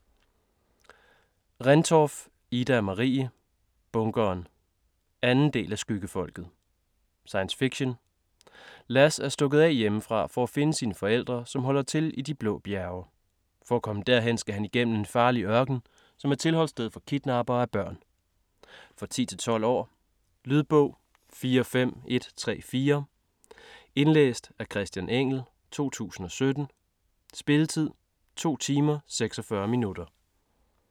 Rendtorff, Ida-Marie: Bunkeren 2. del af Skyggefolket. Science fiction. Lass er stukket af hjemmefra for at finde sine forældre, som holder til i De Blå Bjerge. For at komme derhen skal han igennem en farlig ørken, som er tilholdssted for kidnappere af børn. For 10-12 år. Lydbog 45134 Indlæst af Christian Engell, 2017. Spilletid: 2 timer, 46 minutter.